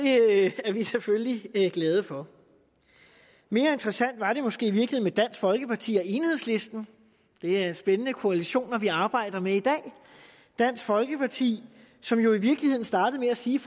er vi selvfølgelig glade for mere interessant var det måske i virkeligheden med dansk folkeparti og enhedslisten det er spændende koalitioner vi arbejder med i dag dansk folkeparti som jo i virkeligheden startede med at sige